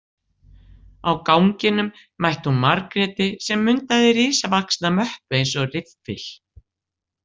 Á ganginum mætti hún Margréti sem mundaði risavaxna möppu eins og riffil.